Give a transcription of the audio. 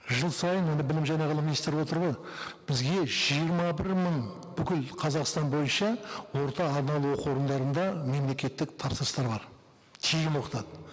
жыл сайын міне білім және ғылым министрі отыр ғой бізге жиырма бір мың бүкіл қазақстан бойынша орта арнаулы оқу орындарында мемлекеттік тапсырыстар бар тегін оқытады